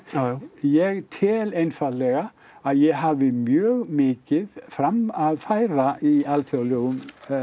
ég tel einfaldlega að ég hafi mjög mikið fram að færa í alþjóðlegum